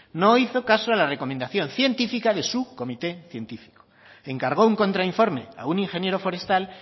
no hizo caso a la recomendación científica de su comité científico encargó un contra informe a un ingeniero forestal